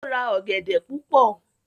o ra ogede púpọ.